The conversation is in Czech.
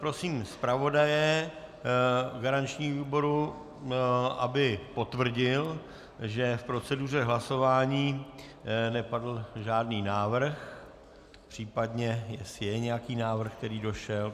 Prosím zpravodaje garančního výboru, aby potvrdil, že k proceduře hlasování nepadl žádný návrh, případně jestli je nějaký návrh, který došel.